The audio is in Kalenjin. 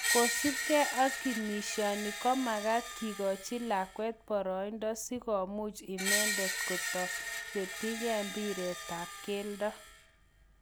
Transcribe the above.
Kosupke ak kinishani ko makat kikochi lakwet paraindo si komukchi inendet kochuturerietap mpiretap keldo